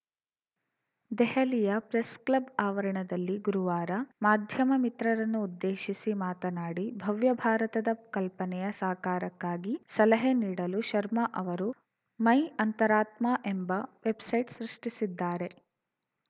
ದೆಹಲಿಯ ಪ್ರೆಸ್‌ಕ್ಲಬ್‌ ಆವರಣದಲ್ಲಿ ಗುರುವಾರ ಮಾಧ್ಯಮ ಮಿತ್ರರನ್ನು ಉದ್ದೇಶಿಸಿ ಮಾತನಾಡಿ ಭವ್ಯ ಭಾರತದ ಕಲ್ಪನೆಯ ಸಾಕಾರಕ್ಕಾಗಿ ಸಲಹೆ ನೀಡಲು ಶರ್ಮಾ ಅವರು ಮೈ ಅಂತರಾತ್ಮ ಎಂಬ ವೆಬ್‌ಸೈಟ್‌ ಸೃಷ್ಟಿಸಿದ್ದಾರೆ